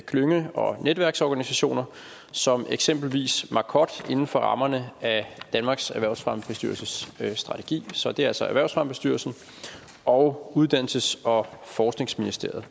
klynge og netværksorganisationer som eksempelvis marcod inden for rammerne af danmarks erhvervsfremmebestyrelses strategi så det er altså erhvervsfremmebestyrelsen og uddannelses og forskningsministeriet